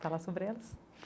Fala sobre elas.